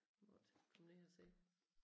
Måtte komme ned og se